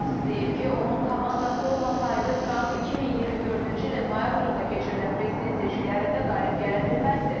Mask deyib ki, onun komandası olmasaydı, Tramp 2024-cü ilin noyabrında keçirilən prezident seçkilərində qalib gələ bilməzdi.